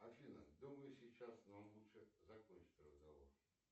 афина думаю сейчас нам лучше закончить разговор